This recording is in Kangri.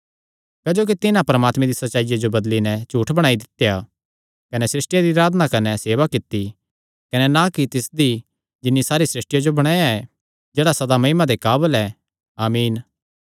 क्जोकि तिन्हां परमात्मे दी सच्चाईया जो बदली नैं झूठ बणाई दित्या कने सृष्टिया दी अराधना कने सेवा कित्ती कने ना कि तिसदी जिन्नी सारी सृष्टिया जो बणाया ऐ जेह्ड़ा सदा महिमा दे काबल ऐ आमीन